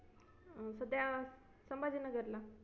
अं कुठ आहा संभाजीनगरला,